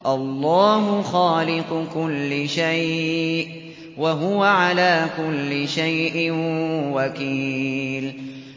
اللَّهُ خَالِقُ كُلِّ شَيْءٍ ۖ وَهُوَ عَلَىٰ كُلِّ شَيْءٍ وَكِيلٌ